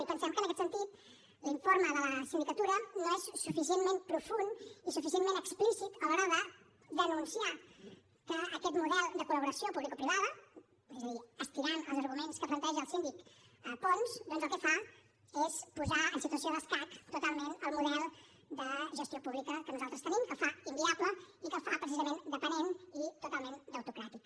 i pensem que en aquest sentit l’informe de la sindicatura no és suficientment profund i suficientment explícit a l’hora de denunciar que aquest model de col·laboració publicoprivada és a dir estirant els arguments que planteja el síndic pons doncs el que fa és posar en situació d’escac totalment el model de gestió pública que nosaltres tenim que el fa inviable i que el fa precisament dependent i totalment debitocràtic